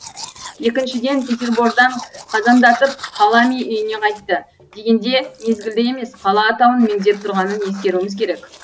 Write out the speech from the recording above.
екіншіден петербордан қазандатып халами үйіне қайтты дегенде мезгілді емес қала атауын меңзеп тұрғанын ескеруіміз керек